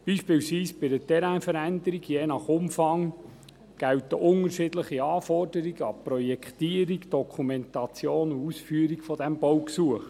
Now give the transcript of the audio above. Beispielsweise bei einer Terrainveränderung, je nach Umfang gelten unterschiedliche Anforderungen an die Projektierung, Dokumentation sowie Ausführung dieses Baugesuches.